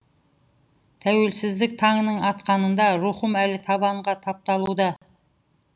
тәуелсіздік таңының атқанында рухым әлі табанға тапталуда